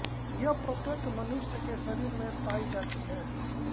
ये प्रत्येक मनुष्य के शरीर में पायी जाती हैं